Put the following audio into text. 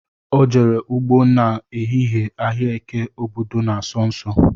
Ọ jere ụgbọ na ehihie ahịa eke obodo na-asọ nsọ